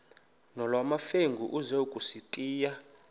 nolwamamfengu ize kusitiya